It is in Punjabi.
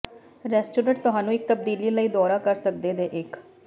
ਰੈਸਟੋਰਟ ਤੁਹਾਨੂੰ ਇੱਕ ਤਬਦੀਲੀ ਲਈ ਦੌਰਾ ਕਰ ਸਕਦੇ ਦੇ ਇੱਕ